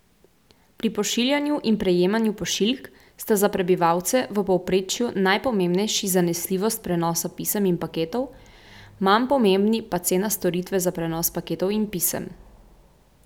Pri pošiljanju in prejemanju pošiljk sta za prebivalce v povprečju najpomembnejši zanesljivost prenosa pisem in paketov, manj pomembni pa cena storitve za prenos paketov in pisem.